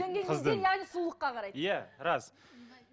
яғни сұлулыққа қарайды иә рас